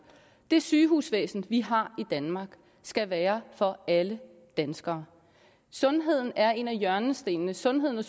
det sygehusvæsen vi har i danmark skal være for alle danskere sundheden er en af hjørnestenene sundheden og